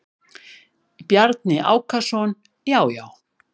Bjarni Ákason: Já já.